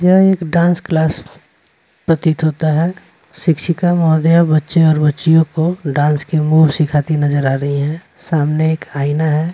यह एक dance class प्रतीत होता है शिक्षिका महोदय बच्चे और बच्चियों को डांस की मूव सिखाती नजर आ रही हैं सामने एक आईना है।